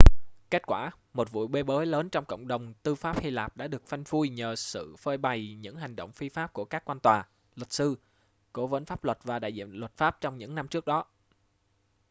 kết quả một vụ bê bối lớn trong cộng đồng tư pháp hy lạp đã được phanh phui nhờ sự phơi bày những hành động phi pháp của các quan tòa luật sư cố vấn pháp luật và đại diện luật pháp trong những năm trước đó